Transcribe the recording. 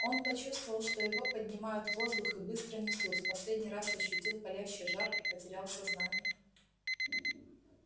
он почувствовал что его поднимают в воздух и быстро несут в последний раз ощутил палящий жар и потерял сознание